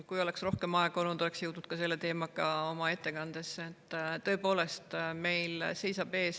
Kui oleks rohkem aega olnud, oleks jõudnud ka selle teemaga oma ettekandes.